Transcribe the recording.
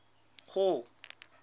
hall